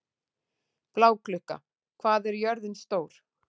Bláklukka, hvað er jörðin stór?